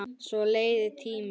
Svo leið tíminn.